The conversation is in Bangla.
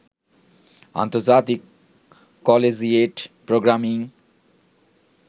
আন্তর্জাতিক কলেজিয়েট প্রোগ্রামিং